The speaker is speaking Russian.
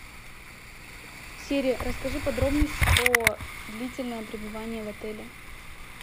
сири расскажи подробности про длительное пребывание в отеле